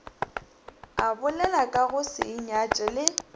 a bolelakago se inyatše le